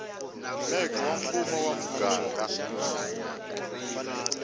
mec wa mfumo wa muganga